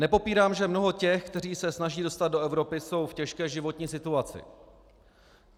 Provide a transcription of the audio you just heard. Nepopírám, že mnoho těch, kteří se snaží dostat do Evropy, jsou v těžké životní situaci.